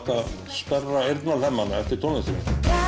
sperrir eftir tónlistinni